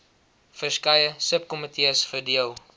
verskeie subkomitees verdeel